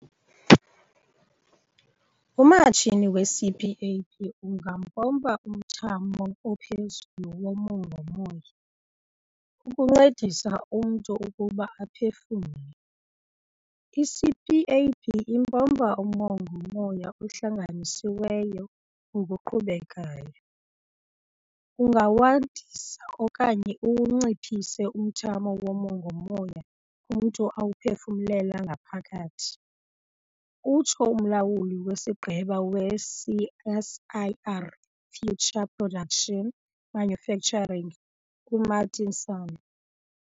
"Umatshini we-CPAP ungampompa umthamo ophezulu womongo-moya, ukuncedisa umntu ukuba aphefumle. I-CPAP impompa umongo-moya ohlanganisiweyo ngokuqhubekayo. Ungawandisa okanye uwunciphise umthamo womongo-moya umntu awuphefumlela ngaphakathi," utsho uMlawuli weSigqeba we-CSIR Future Production- Manufacturing u-Martin Sanne.